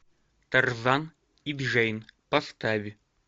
тарзан и джейн поставь